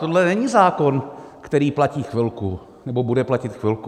Tohle není zákon, který platí chvilku nebo bude platit chvilku.